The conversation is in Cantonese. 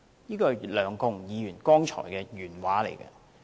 這是梁國雄議員剛才的原話。